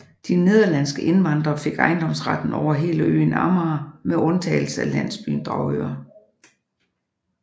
De nederlandske indvandrere fik ejendomsretten over hele øen Amager med undtagelse af landsbyen Dragør